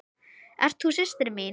Ert þú systir mín?